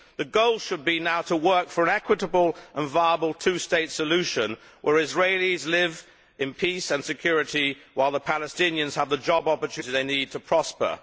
The goal should be now to work for an equitable and viable two state solution where Israelis live in peace and security while the Palestinians have the job opportunities they need to prosper.